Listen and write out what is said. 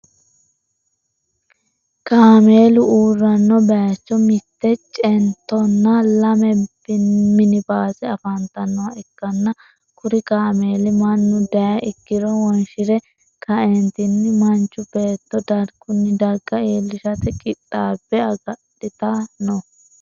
Kameelu uuranno bayicho mitte chentonna lamme minbaase afantanoha ikanna kuri kameeli mannu dayi ikiro wonshire ka'eenitini manchu beeto darguni darga iilishate qixaabbe agadhita no.